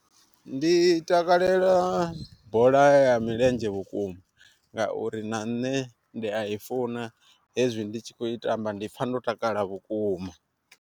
Ndi takalela bola ya milenzhe vhukuma ngauri na nṋe ndi a i funa hezwi ndi tshi khou i tamba ndi pfha ndo takala vhukuma.